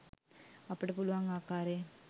අපිට පුළුවන් ආකාරයෙන්